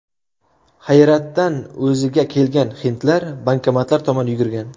Hayratdan o‘ziga kelgan hindlar bankomatlar tomon yugurgan.